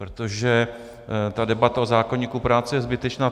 Protože ta debata o zákoníku práce je zbytečná.